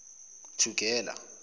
thugela